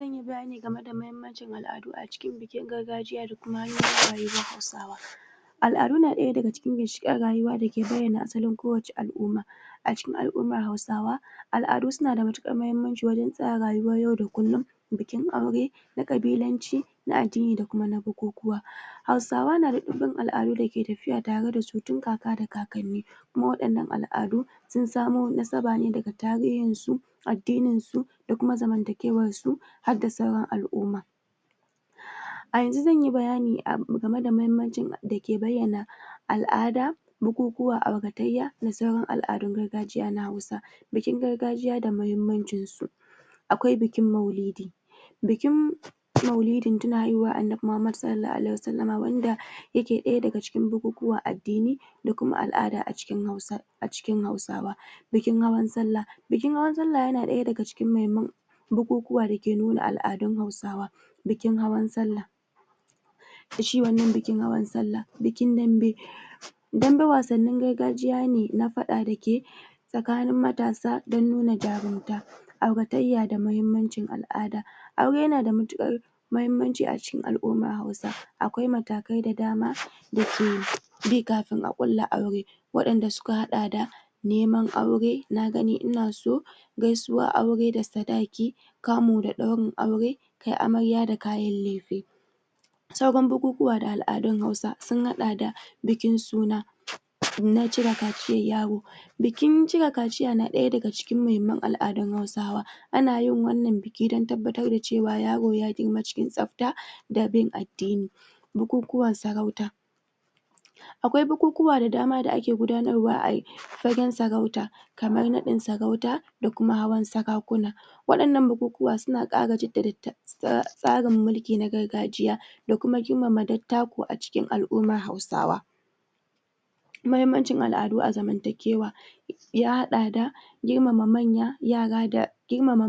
Zan yi bayani game da muhimmanci al'adu a cikin bikin gargajiya da kuma hanyouin rayuwar Hausawa. Al'adu na ɗaya daga cikin ginshiƙan rayuwa da ke bayyana asalin kowace al'umma. A cikin surayuwar Hausawa, al'adu na da matuƙar muhimmanci wajen tsara rayuwar yau da kullum bikin aure, na ƙabilanci, na addini da kuma na bukukuwa Hausawa na ɗimbin al'adu da ke tafiya tare da su tun kaka da kakanni kuma waɗannan al'adu sun samo nasaba ne daga tarihinsu, addinindu da kuma zamantakewarsu, har da sauran al'umma. A yanzu zan bayani game da muhimmancin da ke bayyana al'ada, bukukuwa, auratayya da sauran al'adun gargajiya na Hausa, bikin gargajiya da muhimmancinsu. Akwai bikin Maulidi: Bikin Maulidin tuna haihuwar Annabi Muhammadu (SAW) wanda yake ɗaya daga cikin bukukuwan addini da kuma al'ada a cikin Hausawa Bikin Hawan Sallah: Bikin Hawan Sallah yana ɗaya daga cikin muhimman bukukuwa da ke nuna al'adun Hausawa, Bikin Hawan Sallah. da shi wannan bikin Hawan Sallah. Bikin Dambe, Dambe wasannin gargajiya ne na faɗa da ke tsakanin matasa don nuna jarumta, auratayya da muhimmancin al'ada: Aure yana da matuƙar muhimmanci cikin al'ummar Hausawa. Akwai matakai da dama: da ke bi kafin a ƙulla aure, waɗanda suka haɗa da: neman aure, na-gani-ina-so, gaisuwar aure da sadaki, kamu da ɗaurin aure, kai amarya da kayan lefe. Sauran bukukuwa da al'adun Hausa sun haɗa da bikin suna, na cire kaciyar yaro Bikin cire kaciya na ɗaya cikin muhimman al'adun Hausawa. Ana yin wannan bikin don tabbatar da cewa yaro ya girma cikin tsafta. da bin addini. Bukukuwan sarauta: Akwai bukukuwa da dama da ake gudanarwa a fagen sarauta, kamar nain sarauta da kuma hawan sarakuna. Waɗannan bukukuwa suna ƙara tsarin mulki na gargajiya da kuma kimanta dattaku a cikin Hausawa. Muhimamnci al'adu a zamantakewa ya haɗa da: girmama manya, yara da yara, girmama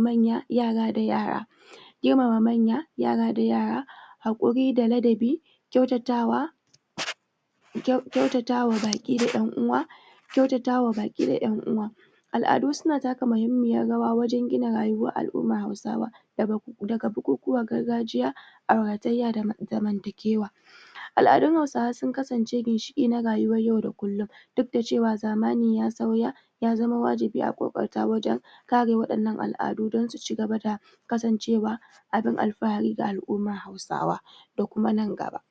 manya, yara da yara haƙuri da ladabi, kyautatawa, kyautatawa baƙi da ƴan uwa, kyautatawa baƙi da ƴan uwa, Al'adu suna taka muhimmiyar rawa wajen gina rayuwar Hausawa daga bukukuwan gargajiya, auratayya da zamantakewa. Al'adun Hausawa sun kasace ginshiƙi na rayuwar yau da kullum duk da cewa zamani ya sauya. Ya zama wajibi a ƙoƙarta wajen kare waɗannan al'adu don su ci gaba da kasancewa abin alfahari ga al'ummar Hausawa da kuma nan gaba.